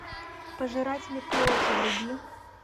пожиратели плоти вруби